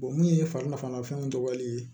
mun ye farilafanafɛn tɔgɔ ye